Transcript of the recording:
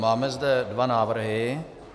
Máme zde dva návrhy.